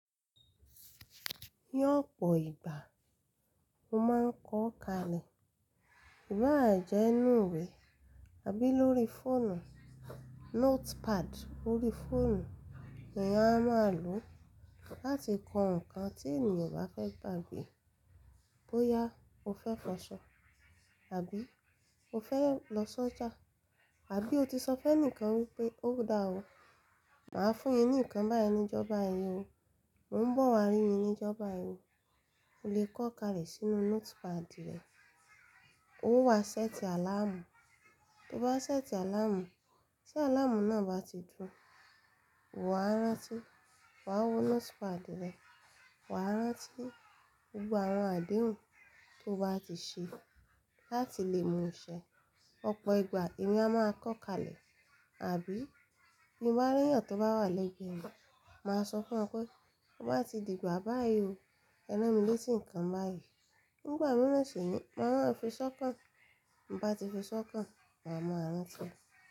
L'ọ̀pọ̀ ìgbà mo máa ń kọ́ kalẹ̀, ìbà jẹ́ inù iwè àbí lórí fóònù, notepad órí fóònù ni èèyàn á máa lò láti kọ ǹkan tí ènìyàn ò bá fẹ́ gbàgbé. Bóyá o fẹ́ fọṣọ àbí o fẹ́ lọ sọ́jà àbí o ti sọ fẹ́ǹikan wípé ó dáa o, màá fún yín ní ǹkan báyìí ní ìjọba yìí o, mò ń bọ̀ wá rí yín ní ìjọba yìí o, o lè kọ́ kalẹ̀ sínú notepad rẹ. Ó wá séètì àláàmù, tí o bá séètì àláàmù, tí àláàmù náà bá ti dún, wà á rántí, wà á wo notepad rẹ, wà á rántí gbogbo àwọn àdéhùn tí o bá ti ṣe láti lè mú ṣẹ́. Ọ̀pọ̀ ìgbà èmi a máa kọ́ kalẹ̀ àbí bí n'báréyan tó bá wà lẹ́gbẹ̀ẹ́ mi, màá sọ fún wọn pé tó bá ti dìgbà báyìí o, ẹ rán mi lé tí ǹkan báyìí. Nígbà mìíràn sì ni màá rá fí sọ́kàn, bi n'bá ti fí sọ́kàn, màá máa ranti.